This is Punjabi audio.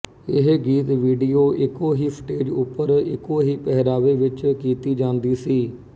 ਇਹ ਗੀਤ ਵੀਡੀਓ ਇੱਕੋ ਹੀ ਸਟੇਜ ਉੱਪਰ ਇੱਕੋ ਹੀ ਪਹਿਰਾਵੇ ਵਿੱਚ ਕੀਤੀ ਜਾਂਦੀ ਸੀ